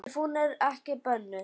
Ef hún er ekki bönnuð.